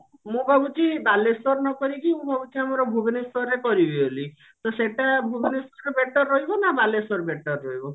ମୁଁ ଭାବୁଛି ବାଲେଶ୍ଵର ନକରିକି ମୁଁ ଭାବୁଛି ଆମର ଭୁବନେଶ୍ଵରରେ କରିବି ବୋଲି ତ ସେଟା ଭୁବନେଶ୍ଵର ଠୁ better ରହିବ ନା ବାଲେଶ୍ଵର better ରହିବ?